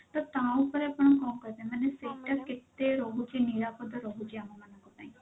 ତ ତା ଉପରେ ଆପଣ କଣ କହିବେ ମାନେ ସେଇଟା କେତେ ରହୁଛି ନିରାପଦ ରହୁଛି ଆମ ମାନଙ୍କ ପାଇଁ?